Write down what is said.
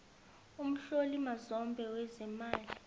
umhloli mazombe wezeemali